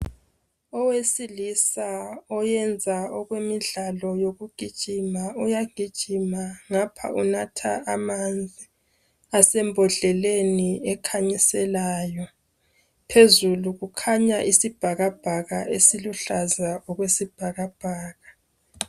Owesilisa oyenza umdlalo wokugijima uyagijima ngapha enatha amanzi asembodleleni ekhanyiselayo. Phezulu kukhanya isibhakabhaka eziluhlaza okwesibhakabhaka.